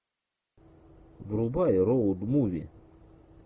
врубай роуд муви